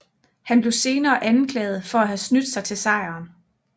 Han blev senere anklaget for at have snydt sig til sejren